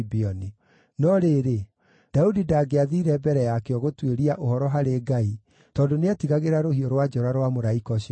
No rĩrĩ, Daudi ndangĩathiire mbere yakĩo gũtuĩria ũhoro harĩ Ngai tondũ nĩetigagĩra rũhiũ rwa njora rwa mũraika ũcio wa Jehova.